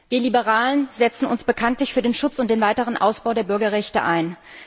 Wir Liberalen setzen uns bekanntlich für den Schutz und den weiteren Ausbau der Bürgerrechte ein.